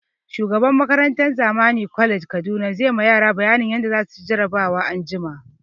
Shugaban makarantan Zamani college Kaduna zai ma yara bayanin yadda za su ci jarabawan anjima